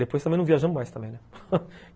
Depois também não viajamos mais, né?